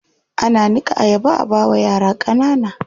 Ana niƙa ayaba a bawa yara ƙanana.